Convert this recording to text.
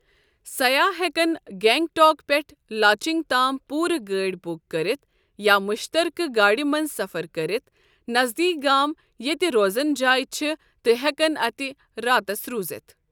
سیاح ہٮ۪کن گینگ ٹوک پٮ۪ٹھٕ لاچنگ تام پوُرٕ گٲڑۍ بُک كٔرتھ یا مشترکہٕ گاڑِ منٛز سفر كٔرِتھ ، نذدیٖک گام ییٚتہِ روزنہٕ جاے چھےٚ تہٕ ہٮ۪کن اتہ راتس روٗزِتھ۔